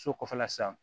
So kɔfɛla san